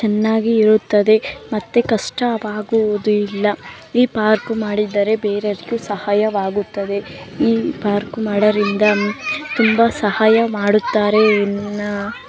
ಚೆನ್ನಾಗಿ ಇರುತ್ತದೆ ಮತ್ತೆ ಕಷ್ಟವಾಗುವುದಿಲ್ಲ ಈ ಪಾರ್ಕ್‌ ಮಾಡಿದರೆ ಬೇರೆದಕ್ಕೂ ಸಹಾಯವಾಗುತ್ತದೆ ಈ ಪಾರ್ಕ್‌ ಮಾಡೋದ್ರಿಂದ ತುಂಬಾ ಸಹಾಯ ಮಾಡುತ್ತಾರೆ ಎಂದು